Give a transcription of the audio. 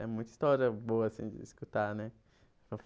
É muita história boa assim de escutar, né?